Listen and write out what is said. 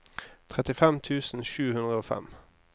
trettifem tusen sju hundre og fem